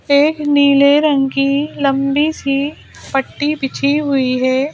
एक नीले रंग की लंबी सी पट्टी बिछी हुई है ।